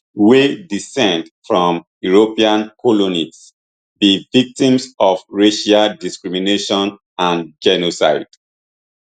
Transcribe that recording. wey descend from european colonists be victims of racial discrimination and genocide